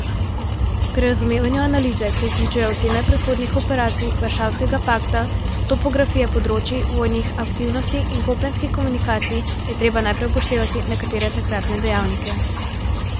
Pri razumevanju analize, ki vključuje ocene predhodnih operacij Varšavskega pakta, topografije področij vojnih aktivnosti in kopenskih komunikacij, je treba najprej upoštevati nekatere takratne dejavnike.